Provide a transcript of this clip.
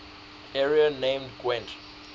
area named gwent